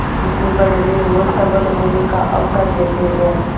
उसे बढ़ने और सबल होने का अवसर देते हैं